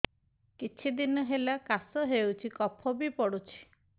କିଛି ଦିନହେଲା କାଶ ହେଉଛି କଫ ବି ପଡୁଛି